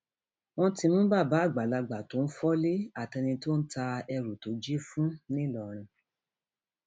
wọn ti mú bàbá àgbàlagbà tó ń fọlé àtẹni tó ń ta èrú tó jí fún ńlọrọrìn